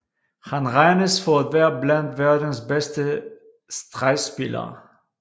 Han regnes for at være blandt verdens bedste stregspillere